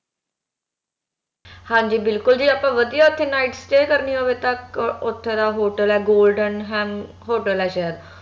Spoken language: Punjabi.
ਹਾਂਜੀ ਬਿਲਕੁਲ ਜੇ ਆਪਾ ਵਧੀਆ ਓਥੇ night stay ਕਰਨੀ ਹੋਵੇ ਤਾ ਅਹ ਓਥੇ ਦਾ hotel ਆ golden hem hotel ਆ ਸ਼ਾਇਦ